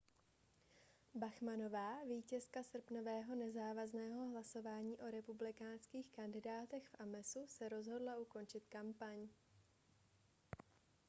bachmannová vítězka srpnového nezávazného hlasování o republikánských kandidátech v amesu se rozhodla ukončit kampaň